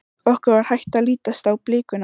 Okkur var hætt að lítast á blikuna.